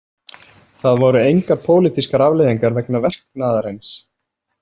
Það voru engar pólitískar afleiðingar vegna verknaðarins.